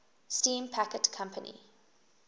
steam packet company